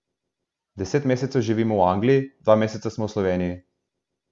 Deset mesecev živimo v Angliji, dva meseca smo v Sloveniji.